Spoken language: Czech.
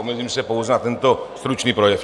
Omezím se pouze na tento stručný projev.